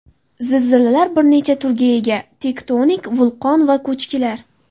Zilzilalar bir necha turga ega: tektonik, vulqon va ko‘chkilar.